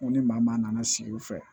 N ko ni maa maa nana sigi u fɛ